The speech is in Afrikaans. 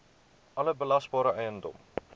alle belasbare eiendom